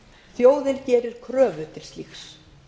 þjóðin gerir kröfu til slíks